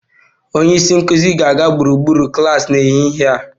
Onye isi nkụzi ga-aga gburugburu klas n'ehihie a